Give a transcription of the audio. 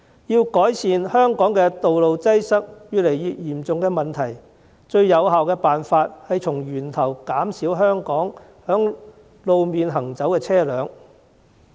要改善香港道路擠塞越來越嚴重的問題，最有效的辦法是從源頭減少在路面行走的車輛。